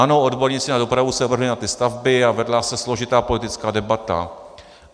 Ano, odborníci na dopravu se vrhli na ty stavby a vedla se složitá politická debata.